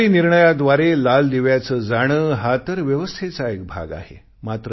सरकारी निर्णयाद्वारे लाल दिव्याचे जाणे हा तर व्यवस्थेचा एक भाग आहे